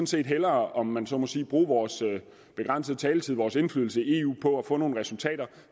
set hellere om man så må sige bruge vores begrænsede taletid vores indflydelse i eu på at få nogle resultater